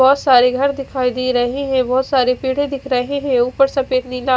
बहोत सारे घर दिखाई दे रहे है बहोत सारे पेडे दिख रहे है ऊपर सफेद नीला--